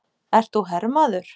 Ert þú hermaður?